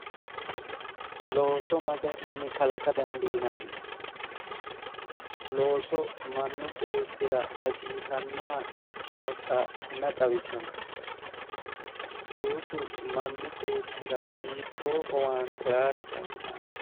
Looso ma garinni kalaqa dadiinani? looso mannu beettira hasiisannoha ikkinota mayi xawisanno? loosu manni beettira hiittoo owaante aanno?